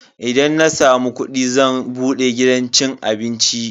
Idan na samu kudi zan bude gidan cin abinci.